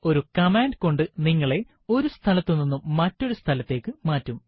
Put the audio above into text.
ഒരു കമാണ്ട് കൊണ്ട് നിങ്ങളെ ഒരു സ്ഥലത്തുനിന്നും മറ്റൊരു സ്ഥലത്തേക്ക് മാറ്റും